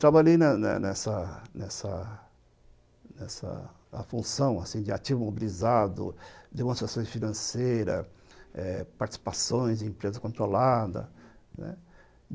Trabalhei na na nessa nessa nessa função de ativo mobilizado, demonstrações financeiras eh participações em empresas controladas, né.